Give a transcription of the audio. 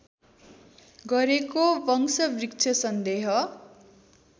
गरेको वंशवृक्ष सन्देह